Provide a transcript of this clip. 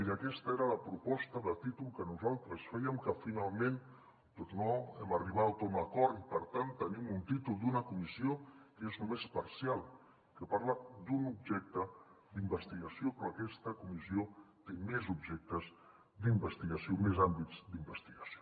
i aquesta era la proposta de títol que nosaltres fèiem que finalment no hem arribat a un acord i per tant tenim un títol d’una comissió que és només parcial que parla d’un objecte d’investigació però aquesta comissió té més objectes d’investigació més àmbits d’investigació